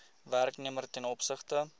werknemer ten opsigte